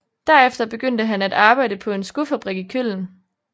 Derefter begyndte han at arbejde på en skofabrik i Köln